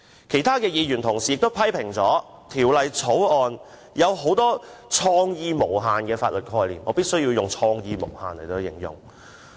其他議員也批評《條例草案》有很多"創意無限"的法律概念——我必須以"創意無限"來形容。